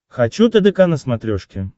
хочу тдк на смотрешке